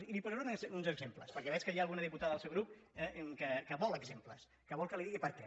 i li posaré uns exemples perquè veig que hi ha alguna diputada del seu grup que vol exemples que vol que li digui per què